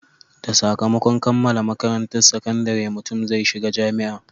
Da sakamakon kammala makarantan sakandare, mutum zai shiga jami'a